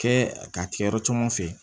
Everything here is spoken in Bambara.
Kɛ k'a kɛ yɔrɔ caman fɛ